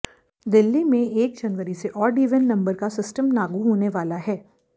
दिल्ली में एक जनवरी से जो ओड इवन नंबर का सिस्टम लागू होने वाला है